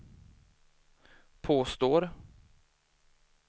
påstår